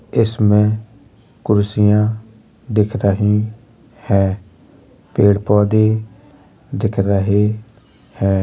इसमे कुर्सिया दिख रही है। पेड़-पौधे दिख रहे है।